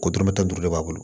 Ko dɔrɔmɛ tan duuru de b'a bolo